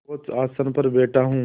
सर्वोच्च आसन पर बैठा हूँ